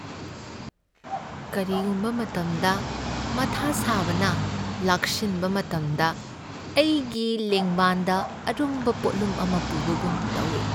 ꯀꯔꯤꯒꯨꯝꯕ ꯃꯇꯝꯗ, ꯃꯊꯥ ꯁꯥꯕꯅ ꯂꯥꯛꯁꯤꯟꯕ ꯃꯇꯝꯗ, ꯑꯩꯒꯤ ꯂꯦꯡꯕꯥꯟꯗ ꯑꯔꯨꯝꯕ ꯄꯣꯠꯂꯨꯝ ꯑꯃ ꯄꯨꯕꯒꯨꯝ ꯇꯧꯢ꯫